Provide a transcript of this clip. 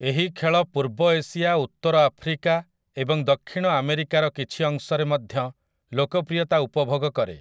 ଏହି ଖେଳ ପୂର୍ବ ଏସିଆ, ଉତ୍ତର ଆଫ୍ରିକା ଏବଂ ଦକ୍ଷିଣ ଆମେରିକାର କିଛି ଅଂଶରେ ମଧ୍ୟ ଲୋକପ୍ରିୟତା ଉପଭୋଗ କରେ ।